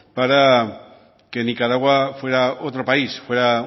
para que nicaragua fuera otro país fuera